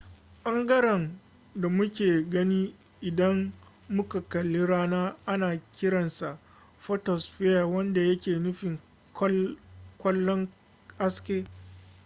bangaren da muke gani idan muka kalli rana ana kiran sa photosphere wanda yake nufin kwallon haske